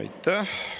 Aitäh!